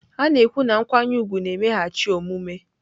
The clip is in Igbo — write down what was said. A na-ekwu na nkwanye ùgwù na-emeghachi omume.